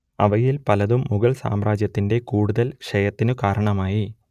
അവയിൽ പലതും മുഗൾ സാമ്രാജ്യത്തിന്റെ കൂടുതൽ ക്ഷയത്തിനു കാരണമായി